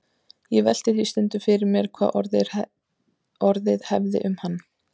Ég velti því stundum fyrir mér hvað orðið hefði um hann.